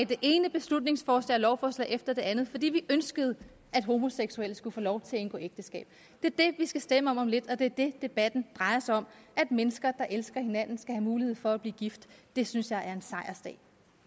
det ene beslutningsforslag og lovforslag efter det andet fordi vi ønskede at homoseksuelle skulle få lov til at indgå ægteskab det er det vi skal stemme om om lidt og det er det debatten drejer sig om at mennesker der elsker hinanden skal have mulighed for at blive gift det synes jeg er en sejrsdag